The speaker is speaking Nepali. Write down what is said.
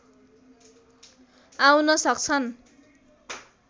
आउन सक्छन्